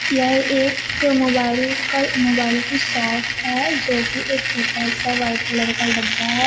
यह एक मोबाइल कल मोबाइल की शॉप है जोकि एक छोटा सा व्हाइट कलर का डब्बा है।